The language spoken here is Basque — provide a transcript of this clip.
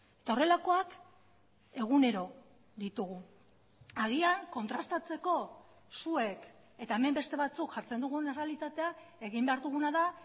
eta horrelakoak egunero ditugu agian kontrastatzeko zuek eta hemen beste batzuk jartzen dugun errealitatea egin behar duguna da